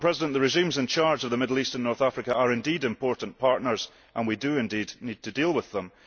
The regimes in charge of the Middle East and North Africa are indeed important partners and we do indeed need to deal with them.